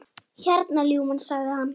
Hérna, ljúfan, sagði hann.